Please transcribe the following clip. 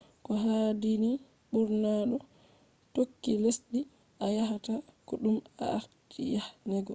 koohaadini burna doo tookki lessdii a yaahata ko dum a aarti yahhego